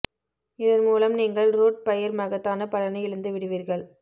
இதன் மூலம் நீங்கள் ரூட் பயிர் மகத்தான பலனை இழந்து விடுவீர்கள்